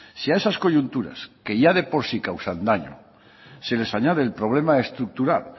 si a esas coyunturas que ya de por sí causan daño se les añade el problema estructural